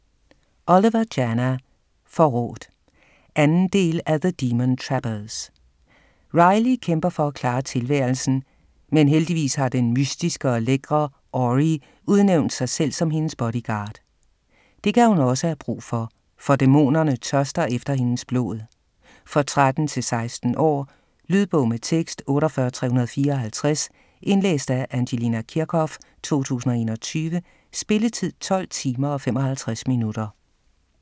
Oliver, Jana: Forrådt 2. del af The demon trappers. Riley kæmper for at klare tilværelsen, men heldigvis har den mystiske og lækre Ori udnævnt sig selv som hendes bodyguard. Det kan hun også have brug for, for dæmonerne tørster efter hendes blod. For 13-16 år. Lydbog med tekst 48354 Indlæst af Angelina Kirchhoff, 2021. Spilletid: 12 timer, 55 minutter.